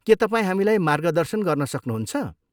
के तपाईँ हामीलाई मार्गदर्शन गर्न सक्नुहुन्छ?